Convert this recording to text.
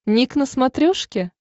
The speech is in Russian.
ник на смотрешке